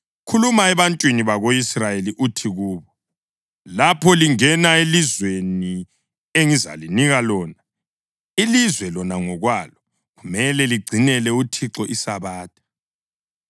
“Khuluma ebantwini bako-Israyeli uthi kubo: ‘Lapho lingena elizweni engizalinika lona, ilizwe lona ngokwalo kumele ligcinele uThixo iSabatha.